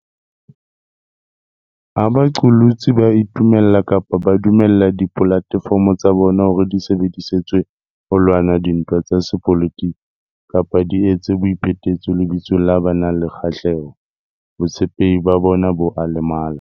Ha baqolotsi ba itumella kapa ba dumella dipolate fomo tsa bona hore di sebedi setswe ho lwana dintwa tsa sepolotiki kapa di etse boi phetetso lebitsong la ba nang le kgahleho, botshepehi ba bona bo a lemala.